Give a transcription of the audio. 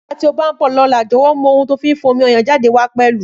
Nígbàtí ọ bá nbọ lóla, jowo mú ohun tí a fin fa omi ọyàn jade wá pẹlù